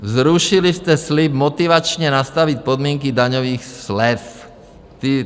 Zrušili jste slib motivačně nastavit podmínky daňových slev.